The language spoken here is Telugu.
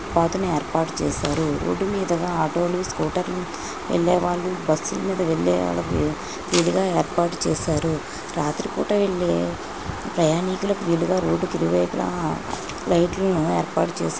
పాత్ ను ఏర్పాటు చేశారు. రోడ్ మీద గా ఆటో లు స్కూటర్ లు వెళ్లేవాళ్లు బస్సు ల మీద వెళ్లేవాళ్లు విడిగా ఏర్పాటు చేశారు. రాత్రిపూట వెళ్లే ప్రయాణికులకు వీలుగా ఇరువైపులా లైటింగ్ లు ఏర్పాటు చేశారు.